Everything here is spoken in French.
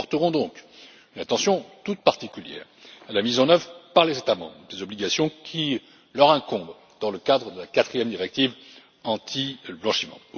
Nous porterons donc une attention toute particulière à la mise en œuvre par les États membres des obligations qui leur incombent dans le cadre de la quatrième directive anti blanchiment.